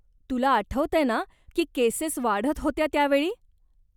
तुला आठवतंय ना की केसेस वाढत होत्या त्यावेळी?